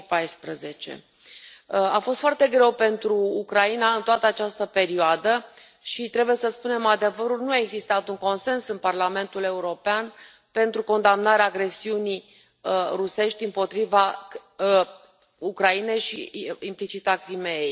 2014. A fost foarte greu pentru Ucraina în toată această perioadă și, trebuie să spunem adevărul, nu a existat un consens în Parlamentul European pentru condamnarea agresiunii rusești împotriva Ucrainei și, implicit, a Crimeei.